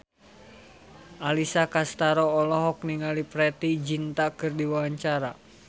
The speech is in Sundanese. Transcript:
Alessia Cestaro olohok ningali Preity Zinta keur diwawancara